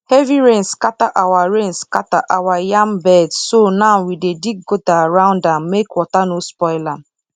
heavy rain scatter our rain scatter our yam beds so now we dey dig gutter around am make water no spoil am